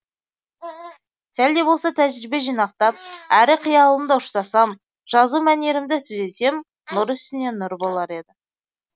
сәл де болса тәжірбие жинақтап әрі қиялымды ұштасам жазу мәнерімді түзесем нұр үстіне нұр болар еді